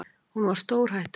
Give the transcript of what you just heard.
Hún var stórhættuleg.